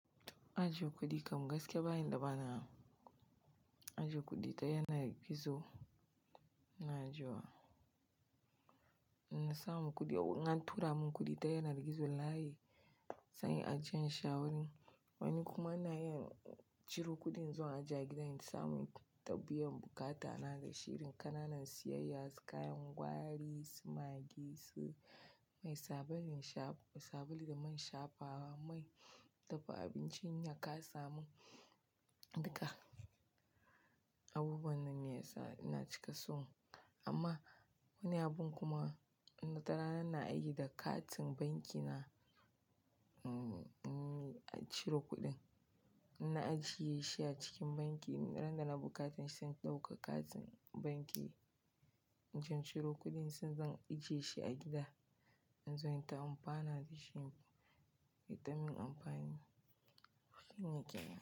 Ajiye kuɗi kam gaskiya ba inda bana ajiye kuɗi ta yanar gizo ina ajiye wa. Inna samu kuɗi, in an tura mun kuɗi ta yanar gizo layi san yi ajiyen shi a wani wani kuma ina ciro kuɗi in zo in ajiye a gida in samu ta biya bukata na da shi. Rin ƙananan siyayya, su kayan gwari, su magi, su mai sabulun sha, sabulu da man shafawa, mai dafa abinci, na ka samu duka abubuwan nan ne yasa ina cika so. Amma wani abun kuma inna tarana ina aiki da katin banki na, a ciro kuɗin. Na ajiye shi a cikin banki ran da na buƙata zan ɗauka katin banki in ciro kuɗin, sai zan ajiye shi a gida in zo in ta amfana da shi. Ya taimini amfani, shi ne ke.